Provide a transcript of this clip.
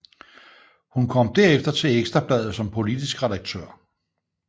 Hun kom derefter til Ekstra Bladet som politisk redaktør